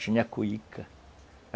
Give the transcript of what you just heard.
Tinha a cuíca.